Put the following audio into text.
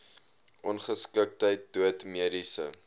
ongeskiktheid dood mediese